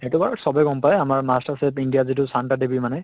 সেইটো বাৰু চবে গম পায় আমাৰ master chef india যিটো শান্তা দেবী মানে